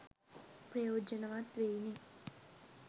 ප්‍රයෝජනවත් වෙයිනේ